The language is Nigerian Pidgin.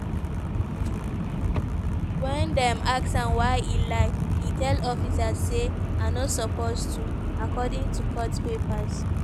ween dem ask am why e lie e tell officers say "i no suppose to" according to court papers.